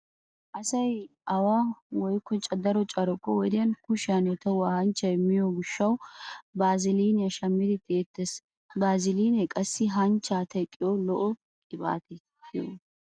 Asay away woykko daro carkko wodiyan kushiyanne tohuwa hanchchay miyo gishshawu baaziliiniya shammidi tisttettees. Baazilinee qassi hanchchaa teqqiya lo'o qibaate giyogaa.